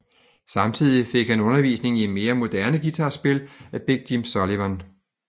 Samtidig fik han undervisning i mere moderne guitarspil af Big Jim Sullivan